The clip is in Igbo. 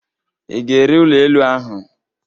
Ị ga-ere ụlọ elu ahụ?